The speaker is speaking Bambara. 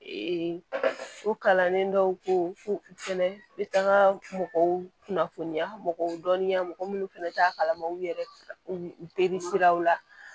o kalannen dɔw ko u fɛnɛ bɛ taa mɔgɔw kunnafoni mɔgɔw dɔnniya mɔgɔ munnu fɛnɛ t'a kalama u yɛrɛ be jeli siraw la